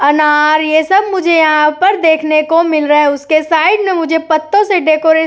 अनार ये सब मुझे यहाँ पर देखने को मिल रहा है उसके साइड में मुझे पत्तों से डेकोरेशन --